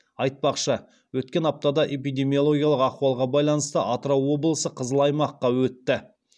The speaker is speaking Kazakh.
айтпақшы өткен аптада эпидемиологиялық ахуалға байланысты атырау облысы қызыл аймаққа өтті